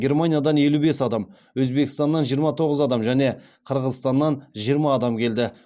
германиядан елу бес адам өзбекстаннан жиырма тоғыз адам және қырғызстаннан жиырма адам келді